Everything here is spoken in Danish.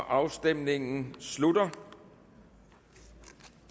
afstemningen slutter